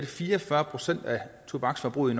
fire og fyrre procent af tobaksforbruget i